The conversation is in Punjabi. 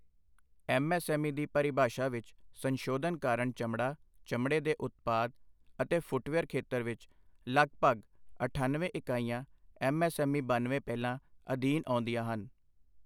ਐਮਐਸਐਮਈ ਦੀ ਪਰੀਭਾਸ਼ਾ ਵਿਚ ਸੰਸ਼ੋਧਨ ਕਾਰਣ ਚਮੜਾ, ਚਮੜੇ ਦੇ ਉਤਪਾਦ ਅਤੇ ਫੁੱਟਵੀਅਰ ਖੇਤਰ ਵਿਚ ਲਗਪਗ ਅਠਾਨਵੇਂ ਇਕਾਈਆਂ ਐਮਐਸਐਮਈ ਬਨਵੇਂ ਪਹਿਲਾਂ ਅਧੀਨ ਆਉਂਦੀਆਂ ਹਨ।